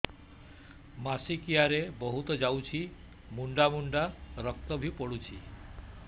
ମାସିକିଆ ରେ ବହୁତ ଯାଉଛି ମୁଣ୍ଡା ମୁଣ୍ଡା ରକ୍ତ ବି ପଡୁଛି